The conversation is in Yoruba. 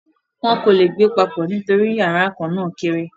wọn kò le gbé papọ̀ nítorí yàrá kan náà kéré.